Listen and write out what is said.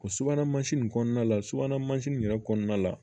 O subahana mansin in kɔnɔna la subahana mansin in yɛrɛ kɔnɔna la